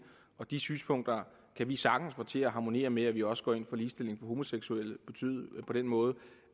de synspunkter kan vi sagtens få til at harmonere med at vi også går ind for ligestilling af homoseksuelle på den måde